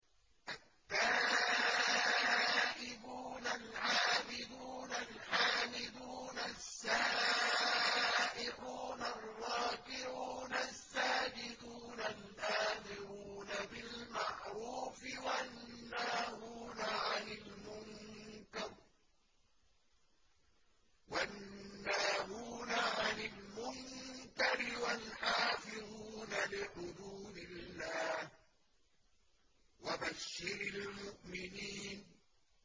التَّائِبُونَ الْعَابِدُونَ الْحَامِدُونَ السَّائِحُونَ الرَّاكِعُونَ السَّاجِدُونَ الْآمِرُونَ بِالْمَعْرُوفِ وَالنَّاهُونَ عَنِ الْمُنكَرِ وَالْحَافِظُونَ لِحُدُودِ اللَّهِ ۗ وَبَشِّرِ الْمُؤْمِنِينَ